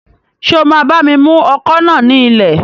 Ṣé o máa bá mi mú ọkọ̀ náà ní ilẹ̀?